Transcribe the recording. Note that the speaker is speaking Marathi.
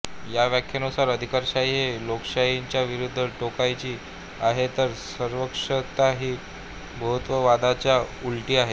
ह्या व्याख्येनुसार अधिकारशाही ही लोकशाहीच्या विरुद्ध टोकाची आहे तर सर्वकषसत्ता ही बहुत्ववादाच्या च्या उलटी आहे